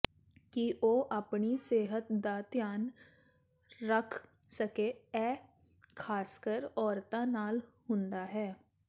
ਕਿ ਉਹ ਆਪਣੀ ਸਿਹਤ ਦਾ ਧਿਆਨ ਰੱਖ ਸਕੇ ਇਹ ਖ਼ਾਸਕਰ ਔਰਤਾਂ ਨਾਲ ਹੁੰਦਾ ਹੈ